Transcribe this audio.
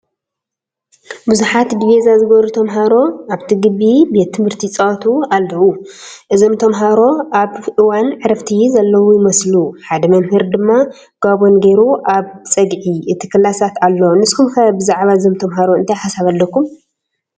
ብዙሓት ዲቪዛ ዝገበሩ ተምሃሮ ኣብቲ ግቢ ቤት ትምህርቲ ይፃወቱ ኣለው፡፡ እዞም ተምሃሮ ኣብ እዋን ዕረፍቲ ዘለው ይመስሉ፡፡ ሓደ መ/ር ድማ ጋቦን ገይሩ ኣብ ፀግዒ እቲ ክላሳት ኣሎ፡፡ ንስኹም ከ ብዛዕባ እዞም ተምሃሮ እንታይ ሓሳብ ኣለኩም?